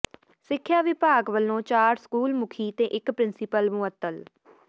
ਸਿੱਖਿਆ ਵਿਭਾਗ ਵੱਲੋਂ ਚਾਰ ਸਕੂਲ ਮੁਖੀ ਤੇ ਇੱਕ ਪ੍ਰਿੰਸੀਪਲ ਮੁਅੱਤਲ